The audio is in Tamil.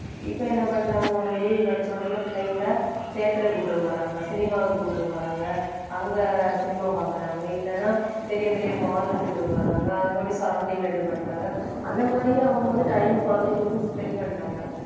இப்ப என்ன பண்றாங்க ஒரு leave கிடைச்சவுடனே பிள்ளைங்களை theatre க்கு கூட்டிட்டு போறாங்க cinema க்கு கூட்டிட்டு போறாங்க. அங்க cinema பாக்குறாங்க இல்லைன்னா பெரிய பெரிய mall கூட்டிட்டு போறாங்க அங்க கூடி surrounding ல இது பண்றாங்க. அந்த மாதிரியே அவங்க வந்து time அ குழந்தைங்களுக்கு spend பண்றாங்க.